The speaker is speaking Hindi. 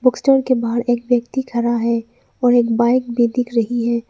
स्टोर के बाहर एक व्यक्ति खड़ा है और एक बाइक भी दिख रही है।